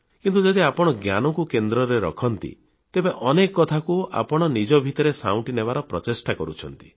କିନ୍ତୁ ଯଦି ଆପଣ ଜ୍ଞାନକୁ କେନ୍ଦ୍ରରେ ରଖନ୍ତି ତେବେ ଅନେକ କଥାକୁ ଆପଣ ନିଜ ଭିତରେ ସାଉଁଟି ନେବାର ପ୍ରଚେଷ୍ଟା କରୁଛନ୍ତି